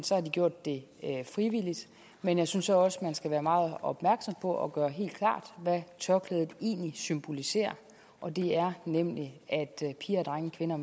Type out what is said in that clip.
så har de gjort det frivilligt men jeg synes så også man skal være meget opmærksom på og gøre helt klart hvad tørklædet egentlig symboliserer og det er nemlig at piger og drenge kvinder og